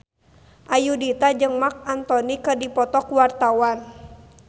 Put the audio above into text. Ayudhita jeung Marc Anthony keur dipoto ku wartawan